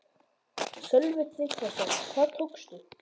Sölvi Tryggvason: Hvað tókstu?